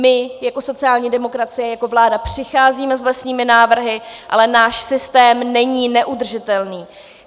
My jako sociální demokracie, jako vláda přicházíme s vlastními návrhy, ale náš systém není neudržitelný.